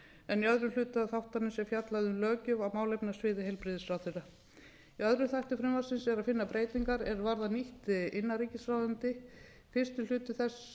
en í öðrum hluta þáttarins er fjallað um löggjöf á málefnasviði heilbrigðisráðherra í öðrum þætti frumvarpsins er að finna breytingar er varða nýtt innanríkisráðuneyti fyrsti hluti þess